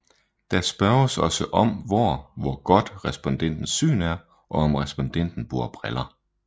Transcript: Der spørges også om hvor hvor godt respondentens syn er og om respondenten bruger briller